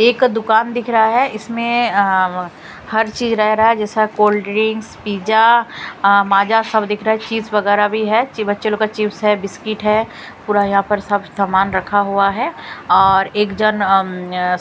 एक दुकान दिख रहा है इसमें हर चीज रह रहा है जैसा कोल्ड ड्रिंक्स पिज़्जा माजा सब दिख रहा है चीज वगैरह भी है बच्चे लोग का चिप्स है बिस्किट है पूरा यहां पर सब सामान रखा हुआ है और एक जन